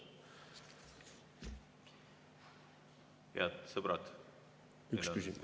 Head sõbrad!